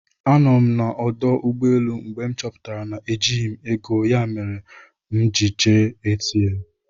Anọ m na ọdụ ụgbọelụ mgbe m chọpụtara na ejighị m ego ya mere m ji jee ATM